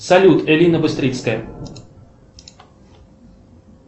салют элина быстрицкая